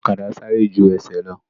Ọ̀kadà sáré ju ẹsẹ̀ lọ